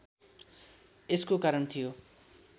यसको कारण थियो